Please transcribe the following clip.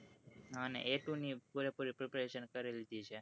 હ અને એ two ની પૂરે પૂરી preparation કરી લીધી છે